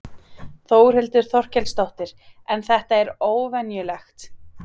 Þórhildur Þorkelsdóttir: En þetta er óvenjulegt?